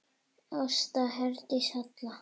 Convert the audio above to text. Ásta Herdís Hall.